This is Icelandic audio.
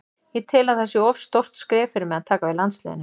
Ég tel að það sé of stórt skref fyrir mig að taka við landsliðinu.